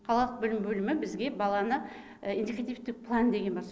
қалалық білім бөлімі бізге баланы индикативтік план деген бар